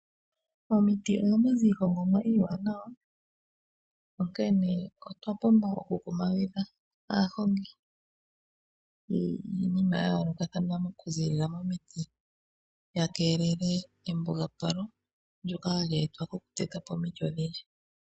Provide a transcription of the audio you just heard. Momiti ohamu zi iihongomwa iiwanawa, onkene otwa pumbwa oku kumagidha aahongi yiinima yayoolokathana oku ziilila momiti, ya keelele embugapalo lyoka hali e twa po mokuteta po omiti.